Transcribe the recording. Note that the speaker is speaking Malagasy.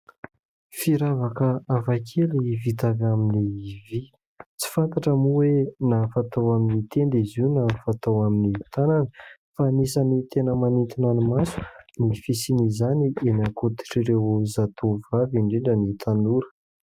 Firavaka hafa kely vita avy amin'ny vy, tsy fantatra moa hoe na fatao amin'ny tenda izy io, na fatao amin'ny tanana fa anisany tena manintona ny maso ny fisiana izany eny an-koditr'ireo zatovovavy indrindra ny tanora.